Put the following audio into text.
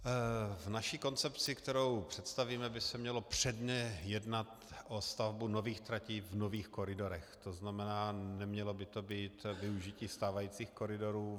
V naší koncepci, kterou představíme, by se mělo předně jednat o stavbu nových tratí v nových koridorech, to znamená, nemělo by to být využití stávajících koridorů.